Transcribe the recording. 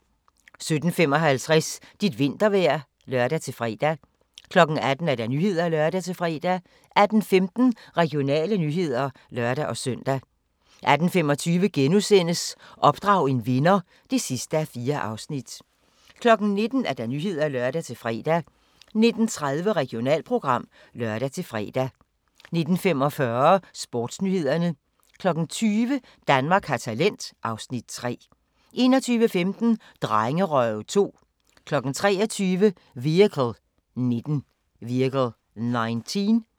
17:55: Dit vintervejr (lør-fre) 18:00: Nyhederne (lør-fre) 18:15: Regionale nyheder (lør-søn) 18:25: Opdrag en vinder (4:4)* 19:00: Nyhederne (lør-fre) 19:30: Regionalprogram (lør-fre) 19:45: Sportsnyhederne 20:00: Danmark har talent (Afs. 3) 21:15: Drengerøve 2 23:00: Vehicle 19